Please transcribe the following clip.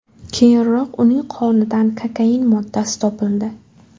Keyinroq uning qonidan kokain moddasi topildi .